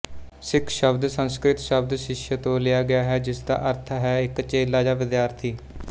ਸਿੱਖਸ਼ਬਦ ਸੰਸਕ੍ਰਿਤਸ਼ਬਦ ਸ਼ਿਸ਼ਯ ਤੋਂ ਲਿਆ ਗਿਆ ਹੈ ਜਿਸਦਾ ਅਰਥ ਹੈ ਇੱਕ ਚੇਲਾ ਜਾਂ ਵਿਦਿਆਰਥੀ